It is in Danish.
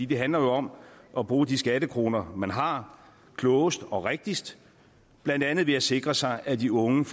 det handler om at bruge de skattekroner man har klogest og rigtigst blandt andet ved at sikre sig at de unge